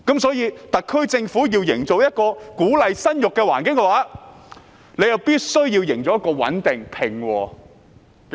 所以，特區政府要營造一個鼓勵生育的環境，必須營造一個穩定而平和的社會。